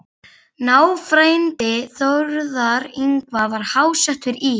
Náfrændi Þórðar Yngva var háttsettur í